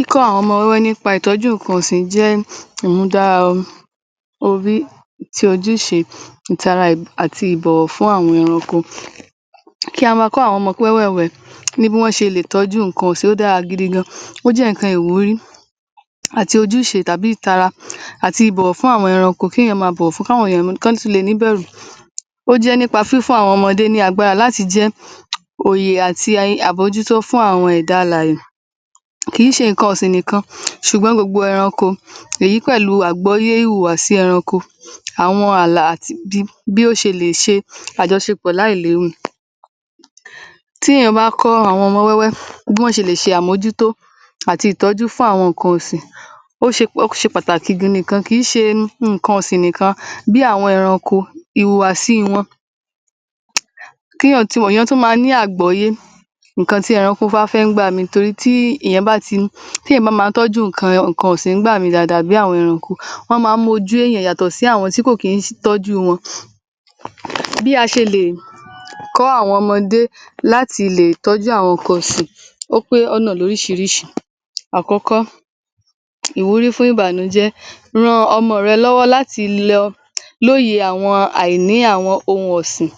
Ìtọ́jú àwọn ẹranko jẹ́ ìmúdára àti ìbọ̀wọ̀ fún àwọn ẹranko. Kí a máa kọ́ àwọn ọmọ wẹ́wẹ́ẹ̀wẹ́ ní bí a ṣe lè tọ́jú nǹkan ọ̀sìn ó dára gidi gan-an. Ó jẹ́ nǹkan ìwúrí àti ìtara àti ìbọ̀wọ̀ fún àwọn ẹranko. Ó jẹ́ nípa fífún àwọn ọmọdé ní agbára láti jẹ́ òyè àti àbójútó fún àwọn ẹ̀dá alàyè. Kìí ṣe nǹkan ọ̀sìn nǹkan ṣùgbọ́n gbogbo ẹranko èyí pẹ̀lú àgbọ́yé ìwùwàsí ẹranko àwọn ààlà àti bí ó ṣe lè ṣe àjọṣepọ̀ láìlérò. Tí èèyàn bá kọ́ àwọn ọmọ wẹ́wẹ́ bí wọ́n ṣe lẹ̀ ṣe àmójútó ti ìtọ́jú fún àwọn nǹkan ọ̀sìn. Ó ṣe pàtàkì gidi gan-an kìí ṣe nǹkan ọ̀sìn nìkan bí àwọn ẹranko, ìwùwàsí wọn kí èèyàn ti mọ̀, èèyàn tún máa ní àgbọ́yé nǹkan tí ẹranko bá fẹ́ nígbà míì torí tí èẹ̀yàn bá máa tọ́jú nǹkan ọ̀sìn nígbà míì dáadáa àwọn ẹranko máa ń mojú èèyàn yàtọ̀ sí àwọn tí kò kí ń tọ́jú wọn. Bí a ṣe lè kọ́ àwọn ọmọdé láti lè tọ́jú àwọn nǹkan ọ̀sìn, ó pé ọ̀nà lóríṣiríṣi. Àkọ́kọ́, ìwúrí fún ìbànújẹ́ ran ọmọ rẹ lọ́wọ́ láti lóye nípa àìní àwọn ohun ọ̀sìn.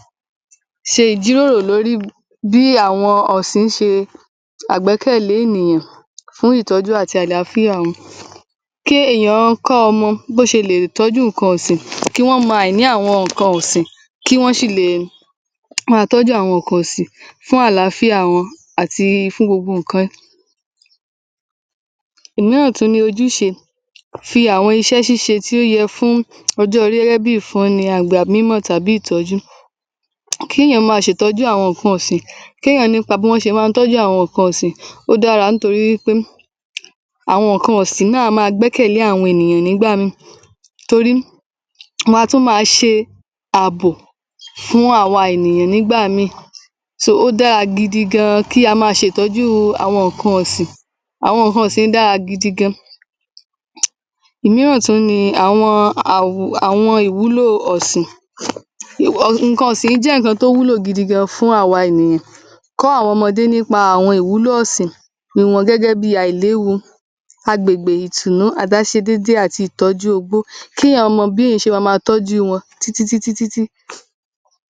Ṣe ìjirórò bí àwọn ọ̀sìn ṣe jẹ́ àgbẹ́kẹ̀lé ènìyàn fúñ ìtọ́jú àti àlááfíà wọn. Kéèyà kọ́ ọmọ bó ṣe lè tọ́jú àwọn nǹkan ọ̀sìn, kí wọ́n mọ àìní àwọn nǹkan ọ̀sìn. Kí wọ́n sì le tọ́jú àwọn nǹkan ọ̀sìn fún àláfíà wọn àti fún gbogbo nǹkan. Omíràn tún ni ojúṣe ti àwọn iṣẹ́ ṣíṣẹ tí ó yẹ fún ọjọ́ orí gẹ́gẹ́ bí i ìfọn ni àbí ìtọ́jú. Kéèyàn máa ṣe ìtọ́jú àwọn nǹkan ọ̀sìn, o dára nítorí wí pé àwọn nǹkan ọ̀sìn náà a máa gbẹ́kẹ̀lé àwọn ènìyàn nígbà míì torí wọn a tún máa ṣe ààbò fún àwa ènìyàn nígbà míì. So ó dára gidi gan-an kí a máa ṣe ìtọ́jú àwọn nǹkan ọ̀sìn. Àwọn dára gidi gan-an nǹkan ọ̀sìn. Òmíràn tún ni àwọn ìwúlò ọ̀sìn. Nǹkan ọ̀sìn jẹ́ ohun tó wúlò gidi gan-an fún àwa ènìyàn. Kọ́ àwọn ọmọdé nípa ìwúlò ọ̀sìn. Kí wọ́n rí wọn gẹ́gẹ́ bí i àìléwu agbègbè ìtùnnù àtaṣedéédé títí di ìtọ́jú ogbó. Kéèyàn mọ́ bó ṣe má tọ́jú wọn títítí ọ̀sìn